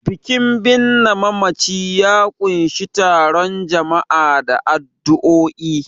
Bikin binne mamaci ya ƙunshi taron jama'a da addu'o'i.